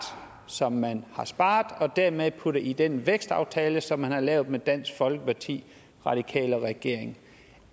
som man har sparet og dermed puttet i den vækstaftale som man har lavet med dansk folkeparti radikale venstre og regeringen